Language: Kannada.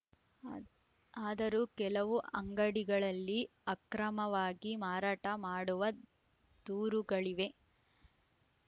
ಅದರೂ ಕೆಲವು ಅಂಗಡಿಗಳಲ್ಲಿ ಆಕ್ರಮವಾಗಿ ಮಾರಾಟ ಮಾಡುವ ದೂರುಗಳಿವೆ